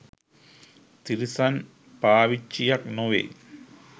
තිරිසන් පාවිච්චියක් නොවෙයි.